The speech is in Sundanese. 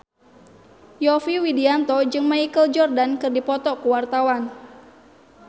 Yovie Widianto jeung Michael Jordan keur dipoto ku wartawan